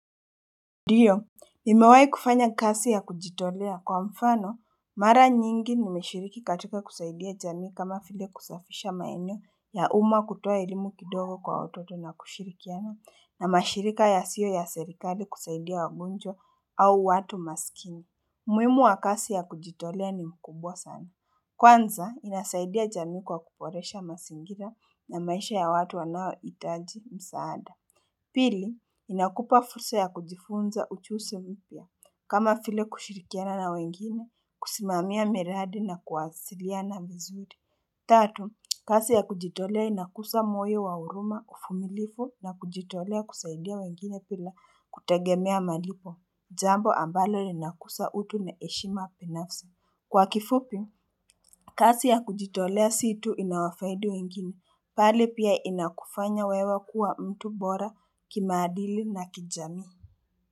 Ndio, nimewai kufanya kazi ya kujitolea. Kwa mfano, mara nyingi nimeshiriki katika kusaidia jamii kama vile kusafisha maeneo ya uma kutoa ilimu kidogo kwa watoto na kushirikiano na mashirika yasio ya serikali kusaidia wagunjo au watu masikini. Umuhimu wa kazi ya kujitolea ni mkubwa sana. Kwanza, inasaidia jamii kwa kuboresha mazingira na maisha ya watu wanao itaji msaada. Pili, inakupa fursa ya kujifunza uchuzo vipya, kama vile kushirikiana na wengine, kusimamia miradi na kuwasiliana vizuri. Tatu, kasi ya kujitolea inakusa moe wa uruma uvumilivu na kujitolea kusaidia wengine bila kutegemea malipo, jambo ambalo linakusa utu na heshima binafsi. Kwa kifupi, kazi ya kujitolea si tu inawafaidi wengine, pale pia inakufanya wewe kuwa mtu bora kimaadili na kijamii.